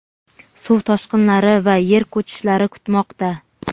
suv toshqinlari va yer ko‘chishlari kutmoqda.